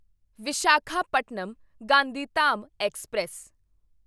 Visakhapatnam Gandhidham express